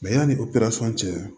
yanni o perasɔn cɛ